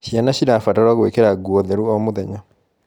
Ciana cirabatarwo gwikira nguo theru o mũthenya